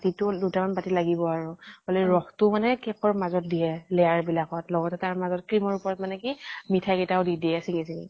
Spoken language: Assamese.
বাতিটো মানে দুটা মান বাতি লাগিব আৰু। মানে ৰস টো মানে ৰস টো মানে cake ৰ মাজত দিয়ে layer বিলাকত। লগতে তাৰ মাজত cream ৰ উপৰত মানে কি মিঠাই কেইটাও দি দিয়ে চিঙ্গি চিঙ্গি।